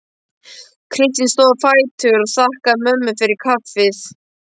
Kristín stóð á fætur og þakkaði mömmu fyrir kaffið.